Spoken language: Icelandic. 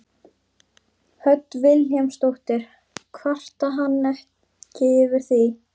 Hödd Vilhjálmsdóttir: Kvarta hann ekkert yfir því?